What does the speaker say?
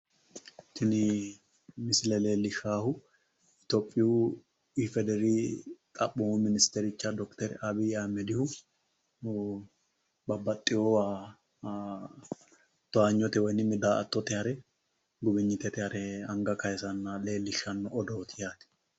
Tin misile leelishahu ethophiyu ifedr xapoomu minstercha dokter abiy ahmedihu babbaxewa taanyote woy da'attote hare guwinyitete harre anga kaaylsanna leellishshanno odooti yaate